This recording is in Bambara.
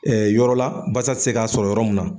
yɔrɔ la basa ti se k'a sɔrɔ yɔrɔ mun na.